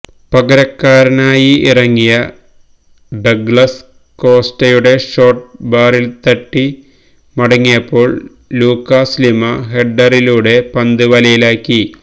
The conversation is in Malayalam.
പകരക്കാരനായി ഇറങ്ങിയ ഡഗ്ലസ് കോസ്റ്റയുടെ ഷോട്ട് ബാറില്തട്ടി മടങ്ങിയപ്പോള് ലൂകാസ് ലിമ ഹെഡ്ഡറിലൂടെ പന്ത് വലയിലാക്കി